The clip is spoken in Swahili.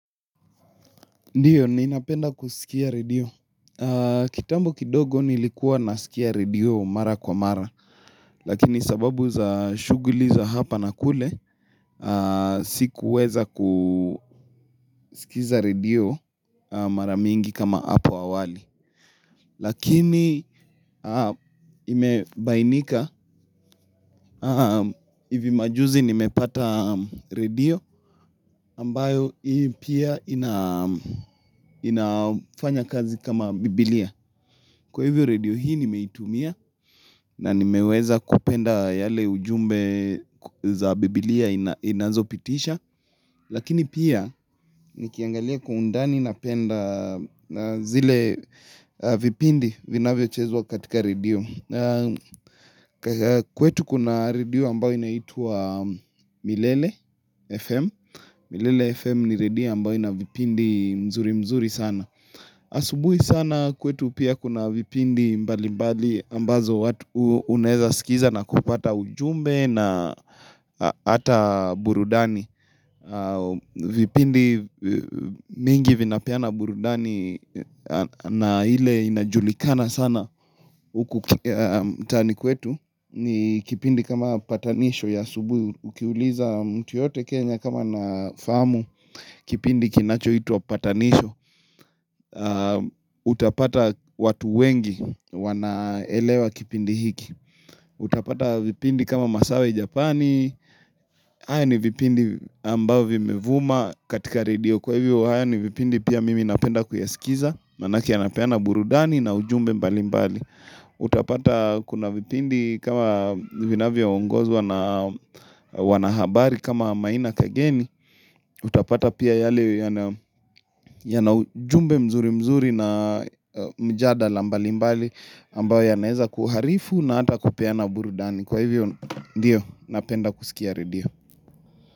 Ndiyo ninapenda kusikia redio. Kitambo kidogo nilikuwa nasikia redio mara kwa mara. Lakini sababu za shughuli za hapa na kule, sikuweza kusikiza redio mara mingi kama hapo awali. Lakini imebainika, hivi majuzi nimepata redio ambayo hii pia inafanya kazi kama biblia. Kwa hivyo redio hii nimetumia na nimeweza kupenda yale ujumbe za biblia inazopitisha. Lakini pia nikiangalia kwa undani napenda zile vipindi vinavyochezwa katika radio. Kwetu kuna radio ambayo inaitwa milele FM. Milele FM ni radio ambayo ina vipindi mzuri mzuri sana. Asubuhi sana kwetu pia kuna vipindi mbali mbali ambazo watu unaeza sikiza na kupata ujumbe na hata burudani. Vipindi mingi vinapeana burudani na ile inajulikana sana huku mtaani kwetu. Ni kipindi kama patanisho ya asubuhi Ukiuliza mtu yoyote Kenya kama anafahamu Kipindi kinachoitwa patanisho Utapata watu wengi wanaelewa kipindi hiki Utapata vipindi kama Masawe Japani haya ni vipindi ambavyo vimevuma katika redio kwa hivyo haya ni vipindi pia mimi napenda kuyasikiza Maanake yanapeana burudani na ujumbe mbali mbali Utapata kuna vipindi kama vinavyoongozwa na wanahabari kama maina kageni Utapata pia yale yana ujumbe mzuri mzuri na mjadala mbali mbali ambayo yanaeza kuharifu na hata kupeana burudani Kwa hivyo, ndiyo, napenda kusikia redio.